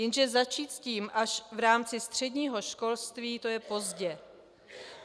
Jenže začít s tím až v rámci středního školství, to je pozdě.